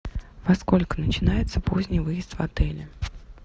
во сколько начинается поздний выезд в отеле